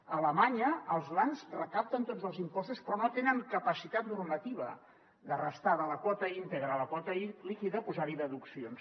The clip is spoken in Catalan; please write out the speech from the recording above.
a alemanya els lands recapten tots els impostos però no tenen capacitat normativa de restar de la quota íntegra la quota líquida posar hi deduccions